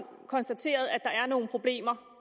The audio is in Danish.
konstateret at der er nogle problemer